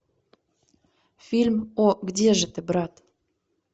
фильм о где же ты брат